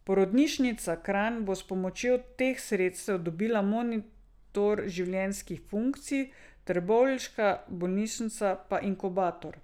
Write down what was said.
Porodnišnica Kranj bo s pomočjo teh sredstev dobila monitor življenjskih funkcij, trboveljska bolnišnica pa inkubator.